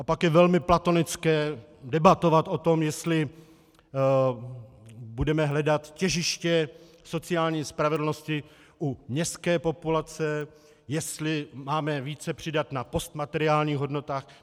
A pak je velmi platonické debatovat o tom, jestli budeme hledat těžiště sociální spravedlnosti u městské populace, jestli máme více přidat na postmateriálních hodnotách.